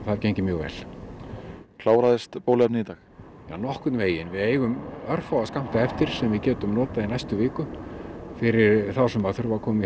gengið mjög vel kláraðist bóluefnið í dag já nokkurn veginn við eigum örfáa skammta eftir sem við getum notað í næstu viku fyrir þá sem þurfa að koma í